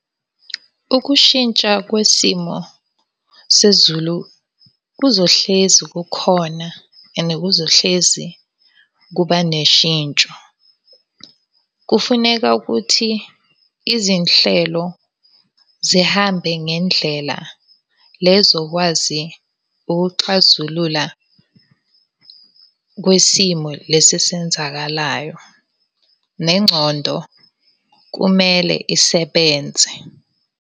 Ukushintsha kwesimo sezulu kuzohlezi kukhona and kuzohlezi kuba neshintsho. Kufuneka ukuthi izinhlelo zihambe ngendlela le ezokwazi ukuxazulula kwisimo lesi esenzakalayo. Nengcondo kumele isebenze.